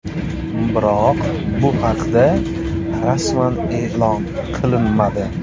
Biroq bu haqda rasman e’lon qilinmadi.